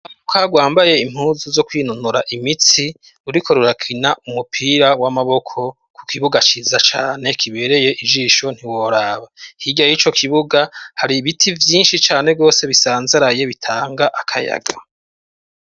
Urwaruka rwambaye impuzu zo kwinonora imitsi, ruriko rurakina umupira w'amaboko ku kibuga ciza cane kibereye ijisho ntiworaba. Hirya y'ico kibuga, hari ibiti vyinshi cane gose bisanzaraye bitanga akayaga.